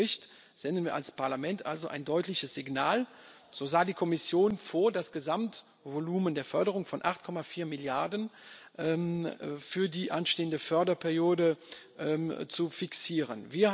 Mit unseren Bericht senden wir als Parlament also ein deutliches Signal. So sah die Kommission vor, das Gesamtvolumen der Förderung von 8,4 Milliarden Euro für die anstehende Förderperiode zu fixieren.